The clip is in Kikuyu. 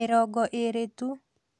Mĩrongo Ĩĩrĩ tu